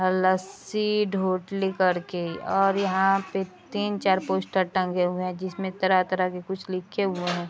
लस्सी ढोटली करके और यहाँ पे तीन-चार पोस्टर टंगे हुवे हैं जिसमे तरह-तरह के कुछ लिखे हुवे हैं।